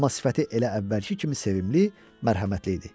Amma sifəti elə əvvəlki kimi sevimli, mərhəmətli idi.